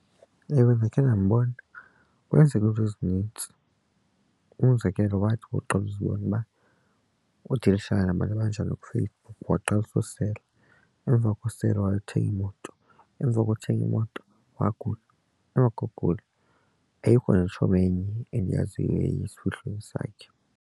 Ewe, ndakhe ndambona, kwenzeke iinto ezinintsi umzekelo wathi uqala uzibone uba udilishana nabantu abanjani kuFacebook waqalisa usela. Emva kosela wayothenga imoto emva kothenga imoto wagula nokokugula ayikho netshomi enye endiyaziyo eyaya esifihlweni sakhe.